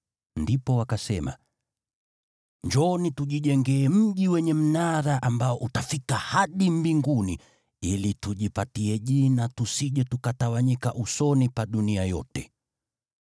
Ndipo wakasema, “Njooni, tujijengee mji wenye mnara ambao utafika hadi mbinguni, ili tujipatie jina tusije tukatawanyika usoni pa dunia yote.”